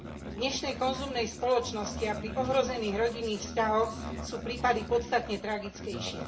V dnešnej konzumnej spoločnosti a pri ohrozených rodinných vzťahoch sú prípady podstatne tragickejšie.